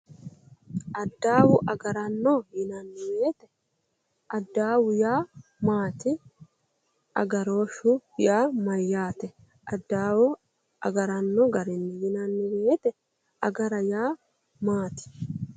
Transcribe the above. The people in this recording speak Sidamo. Adawu agaranno yinanni woyiite adawu yaa maati? Agarooshshu yaa maayyaate? Addaawu agaranno garinni yinanni woyiite agara yaa maati?